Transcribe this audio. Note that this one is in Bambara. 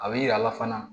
A bɛ yir'a la fana